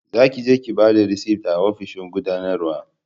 za ki je ki bada risit a ofishin gudanarwa